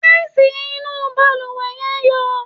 Tísìì inú baluwe yẹn ń yọ̀.